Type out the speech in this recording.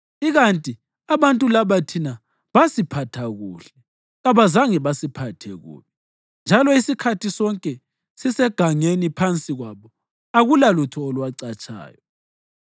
Ikanti abantu laba thina basiphatha kuhle. Kabazange basiphathe kubi, njalo isikhathi sonke sisegangeni phansi kwabo akulalutho olwacatshayo.